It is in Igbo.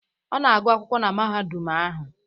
Ọ na-agụ akwụkwọ na mahadum ahụ